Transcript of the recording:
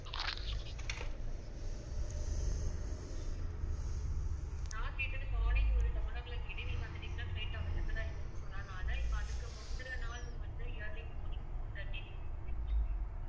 நான் கேட்டது morning ஒரு eleven o'clock கேட்டேன் நீங்க அந்த time ல flight லாம் available ஆ இல்லன்னு சொன்னாங்க ஆனா இப்ப அதுக்கு முந்தன நாளும் வந்து early morning four thirty